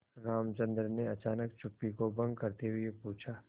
रामचंद्र ने अचानक चुप्पी को भंग करते हुए पूछा